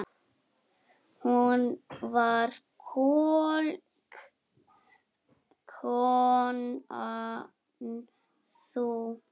Hún var klók, konan sú.